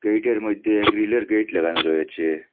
মধ্যে গ্রিলের গেট লাগানো রয়েছে।